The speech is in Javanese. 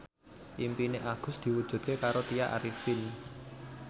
impine Agus diwujudke karo Tya Arifin